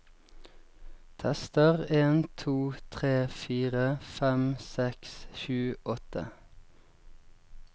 Tester en to tre fire fem seks sju åtte